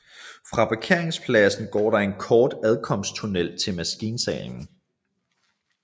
Fra parkeringspladsen går der en kort adkomsttunnel til maskinsalen